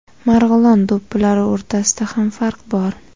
Marg‘ilon do‘ppilari o‘rtasida ham farq bor.